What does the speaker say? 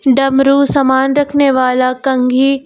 डमरू सामान रखने वाला कंघी--